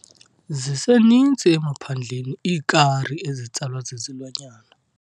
Ziseninzi emaphandleni iikari ezitsalwa zizilwanyana.